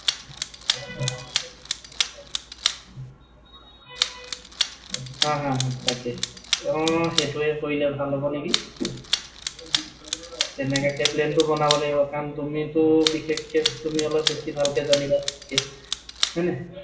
হা, হা, হা। তাকে। অ সেইটোৱে কৰিলেই ভাল হব নেকি। তেনেকুৱাকৈ plan টো বনাব লাগিব, কাৰণ তুমি ত বিশেষকৈ তুমি অলপ ভালকৈ জানিবা। হয় নাই?